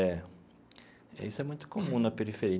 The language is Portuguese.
É, isso é muito comum na